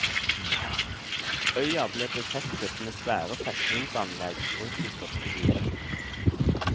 Øya ble befestet med svære festningsanlegg rundt de største byene.